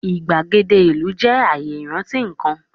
igbagede ilu jẹ aaye iranti kan